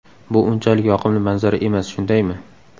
Bu unchalik yoqimli manzara emas, shundaymi?